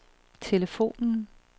telefonen